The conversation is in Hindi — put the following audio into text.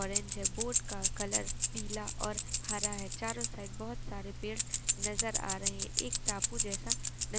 ऑरेंज है। बोट का कलर पीला और हरा हैं। चारों साइड बहुत सारें पेड़ नजर आ रहे हैं। एक टापू जैसा न --